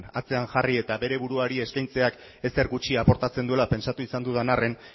atzean jarri eta bere buruari eskaintzeak ezer gutxi aportatzen duela pentsatu izan dudan arren